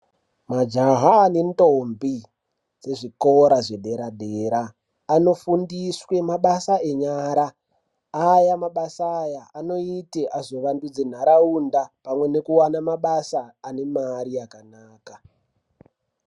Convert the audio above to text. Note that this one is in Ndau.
Majaha nentombi dzezvikora zvedera dera anofundiswe mabasa enyara aya mabasa aya anoite vazovandudze ntaraunda pamwe nekuwane mabasa anemari yakanaka.